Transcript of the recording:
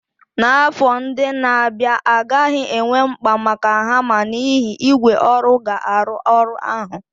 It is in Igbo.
N'afọ ndị na-abịa, a gaghị enwe mkpa maka hama n'ihi na ígwè ọrụ ga-arụ ọrụ ahụ.